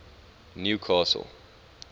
newcastle